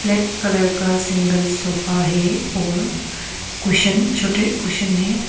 Black colour का single sofa है और कुशन छोटे कुशन है।